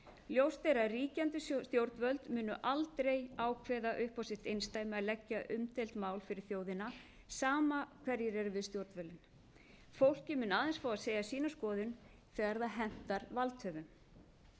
ljóst er að ríkjandi stjórnvöld munu aldrei ákveða upp á sitt einsdæmi að leggja umdeild mál fyrir þjóðina sama hverjir eru við stjórnvölinn fólkið mun aðeins fá að segja sína skoðun þegar það hentar valdhöfum